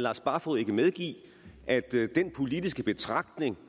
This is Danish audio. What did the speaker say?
lars barfoed ikke medgive at den politiske betragtning